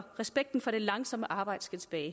respekten for det langsomme arbejde skal tilbage